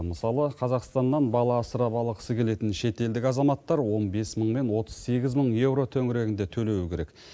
мысалы қазақстаннан бала асырап алғысы келетін шетелдік азаматтар он бес мың мен отыз сегіз мың еуро төңірегінде төлеуі керек